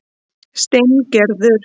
Steingerður